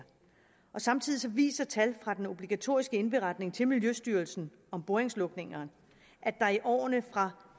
samtidig viser tal fra den obligatoriske indberetning til miljøstyrelsen om boringslukninger at der i årene fra